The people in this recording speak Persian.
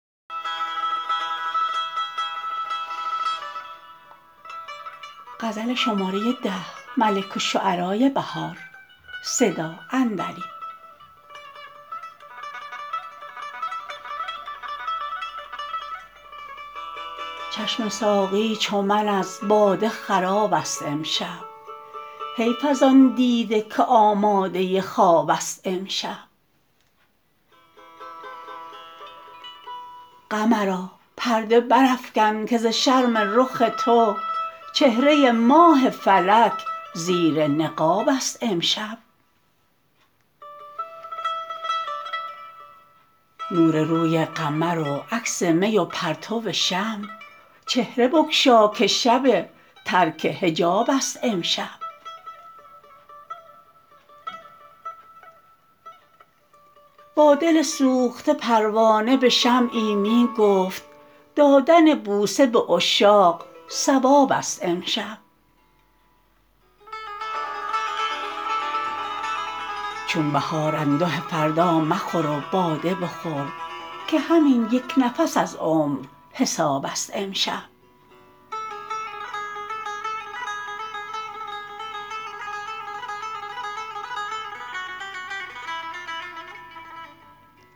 چشم ساقی چو من از باده خرابست امشب حیف از آن دیده که آماده خوابست امشب قمرا پرده برافکن که ز شرم رخ تو چهره ماه فلک زیر نقابست امشب نور روی قمر و عکس می و پرتو شمع چهره بگشاکه شب ترک حجابست امشب با دل سوخته پروانه به شمعی می ‎گفت دادن بوسه به عشاق ثوابست امشب چون بهار انده فردا مخور و باده بخور که همین یک نفس از عمر حسابست امشب